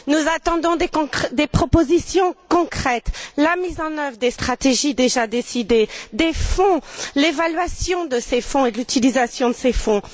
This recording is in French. Nous attendons des propositions concrètes, la mise en œuvre des stratégies déjà décidées, des fonds, l'évaluation de ces fonds et de l'utilisation de ces fonds.